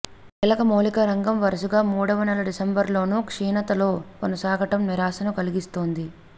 కీలక మౌలిక రంగం వరుసగా మూడవనెల డిసెంబర్లోనూ క్షీణతలో కొనసాగడం నిరాశను కలిగిస్తోంది